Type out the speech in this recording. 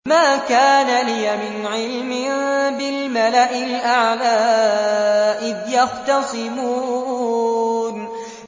مَا كَانَ لِيَ مِنْ عِلْمٍ بِالْمَلَإِ الْأَعْلَىٰ إِذْ يَخْتَصِمُونَ